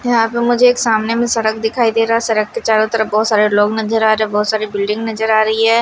यहां प मुझे एक सामने में सड़क दिखाई दे रहा है सड़क के चारों तरफ बहुत सारे लोग नजर आ रहे हैं बहुत सारी बिल्डिंग नजर आ रही है।